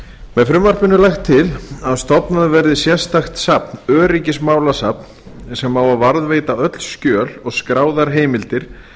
með frumvarpinu er lagt til að stofnað verði sérstakt safn öryggismálasafn sem á að varðveita öll skjöl og skráðar heimildir